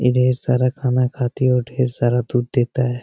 ये ढेर सारा खाना खाती है और ढेर सारा दूध देता है।